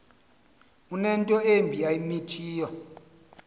unento embi ayimithiyo